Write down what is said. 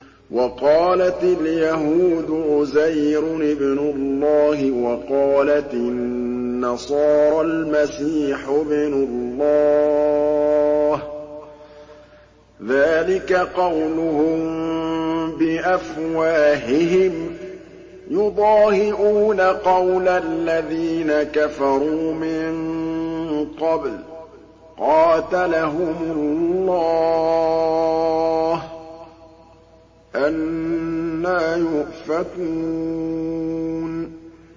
وَقَالَتِ الْيَهُودُ عُزَيْرٌ ابْنُ اللَّهِ وَقَالَتِ النَّصَارَى الْمَسِيحُ ابْنُ اللَّهِ ۖ ذَٰلِكَ قَوْلُهُم بِأَفْوَاهِهِمْ ۖ يُضَاهِئُونَ قَوْلَ الَّذِينَ كَفَرُوا مِن قَبْلُ ۚ قَاتَلَهُمُ اللَّهُ ۚ أَنَّىٰ يُؤْفَكُونَ